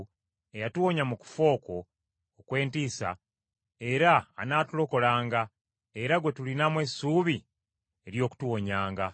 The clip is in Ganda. eyatuwonya mu kufa okwo okw’entiisa, era anaatulokolanga, era gwe tulinamu essuubi ery’okutuwonyanga.